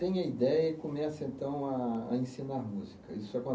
Tenha ideia e comece então a a ensinar música. Isso